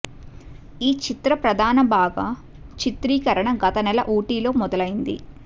ఈ చిత్ర ప్రధాన బాగా చిత్రీకరణ గత నెల ఊటీలో మొదలయ్యింది